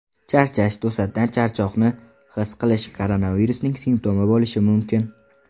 Charchash To‘satdan charchoqni his qilish koronavirusning simptomi bo‘lishi mumkin.